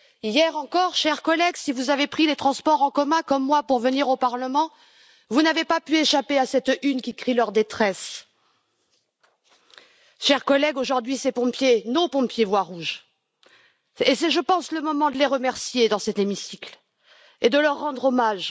Hier encore, chers collègues, si vous avez pris les transports en commun comme moi pour venir au Parlement, vous n'avez pas pu échapper à cette une qui crie leur détresse. Chers collègues, aujourd'hui, ces pompiers, nos pompiers voient rouge et c'est, je pense, le moment de les remercier dans cet hémicycle et de leur rendre hommage.